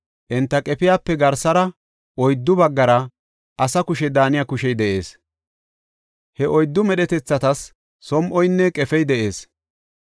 Enta qefiyape garsara oyddu baggara asa kushe daaniya kushey de7ees. He oyddu medhetethatas som7oynne qefey de7ees.